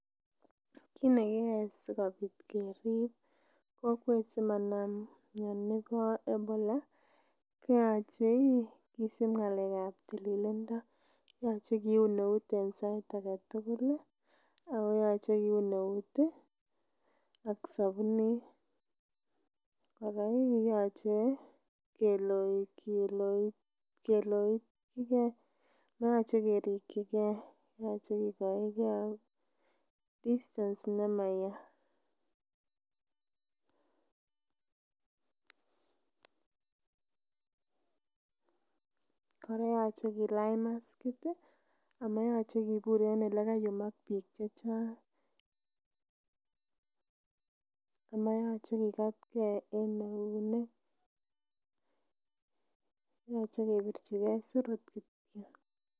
Kit nekiyoe sikobit kerib kokwet simanam mionibo Ebola koyoche ih kisib ng'alek ab tililindo yoche kiun eut en sait aketugul ih akoyoche kiun eut ih ak sobunit ako ih yoche keloityigee, yoche kikoigee distance nemayaa. Kora yoche kilach maskit ih amoyoche kibur en elekayumak biik chechang amoyoche kikatge en eunek yoche kebirchigee surut kityok.